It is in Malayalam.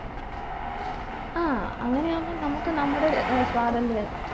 ആ അങ്ങനെയാവുമ്പോ നമുക്ക് നമ്മുടെ ഏർ സ്വാതന്ത്ര്യം